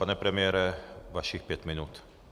Pane premiére, vašich pět minut.